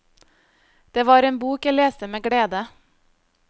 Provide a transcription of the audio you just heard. Det var en bok jeg leste med glede.